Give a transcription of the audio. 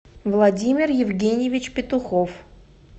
владимир евгеньевич петухов